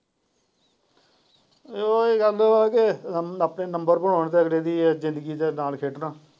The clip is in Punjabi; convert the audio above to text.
ਤੇ ਉਹੀ ਗੱਲ ਵਾ ਕੀ ਆਪਣੇ ਨੰਬਰ ਬਨਾਉਣੇ ਤੇ ਅਗਲੇ ਦੀ ਜਿੰਦਗੀ ਦੇ ਨਾਲ ਖੇਡਣ।